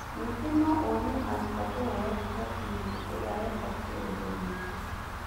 ningĩ no ũrie arutwo kũhũra riboti hĩndĩ ĩria wekwo kĩũndũ gĩki.